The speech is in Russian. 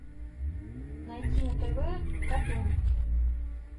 найти на тв катун